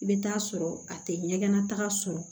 I bɛ taa sɔrɔ a tɛ ɲɛgɛnna taga sɔrɔ